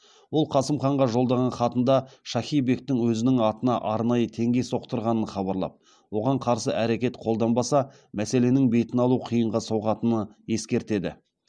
ол қасым ханға жолдаған хатында шахи бектің өзінің атына арнайы теңге соқтырғанын хабарлап оған қарсы әрекет қолданбаса мәселенің бетін алу қиынға соғатыны ескертеді